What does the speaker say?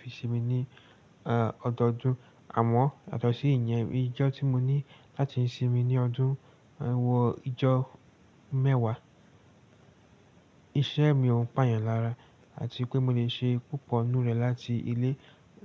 Fi sí mi ní ọdọdún àmọ́ yàtọ̀ si ìyẹn, ijọ́ tí mo ní láti sinmi ní ọdún, wọ ijọ́ mẹ́wàá. Iṣẹ́ mi òun pà yàn lára àti pé mo lè ṣe púpọ̀ nínú rẹ̀ láti ilé